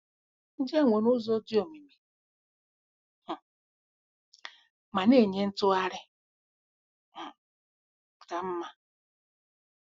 Ndị a nwere ụzọ dị omimi um ma na-enye ntụgharị um ka mma.